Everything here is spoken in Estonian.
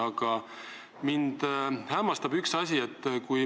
Aga mind hämmastab üks asi.